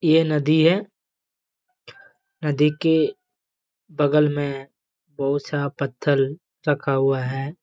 ये नदी है नदी के बगल में बहुत-सा पत्थर रखा है।